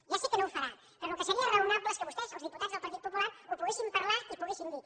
ja sé que no ho farà però el que seria raonable és que vostès els diputats del partit popular ho poguessin parlar i poguessin dir